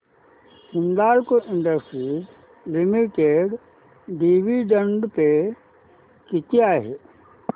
Hindalco Industries Limited dividend pay किती आहे